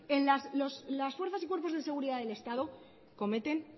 en las fuerzas y cuerpos de seguridad del estado cometen